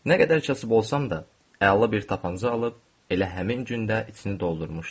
Nə qədər kasıb olsam da, əla bir tapança alıb elə həmin gündə içini doldurmuşdum.